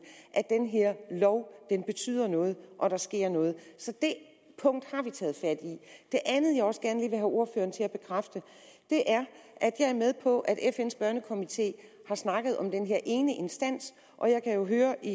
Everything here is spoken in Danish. at den her lov betyder noget og at der sker noget så det punkt har vi taget fat i det andet jeg også gerne have ordføreren til at bekræfte er at jeg er med på at fns børnekomite har snakket om den her ene instans og jeg kan jo høre i